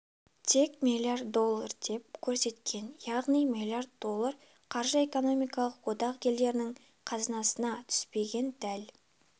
тек миллиард доллар деп көрсеткен яғни миллиард доллар қаржы экономикалық одақ елдерінің қазынасына түспеген дәл